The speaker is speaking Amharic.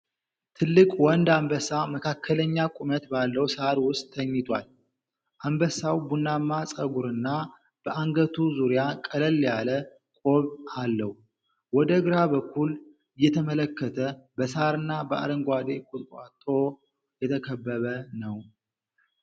ትልቅ ወንድ አንበሳ መካከለኛ ቁመት ባለው ሳር ውስጥ ተኝቷል። አንበሳው ቡናማ ፀጉርና በአንገቱ ዙሪያ ቀለል ያለ ቆብ አለው። ወደ ግራ በኩል እየተመለከተ በሳርና በአረንጓዴ ቁጥቋጦ የተከበበ ነው።